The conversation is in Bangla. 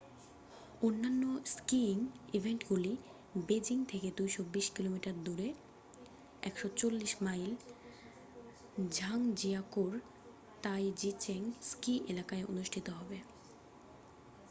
অন্যান্য স্কিয়িং ইভেন্টগুলি বেজিং থেকে 220 কিমি দূরে 140 মাইল ঝাংজিয়াকৌ-র তাইজিচেং স্কি এলাকায় অনুষ্ঠিত হবে।